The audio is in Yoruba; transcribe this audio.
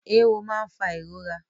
Ewọ máa ń fà ìrora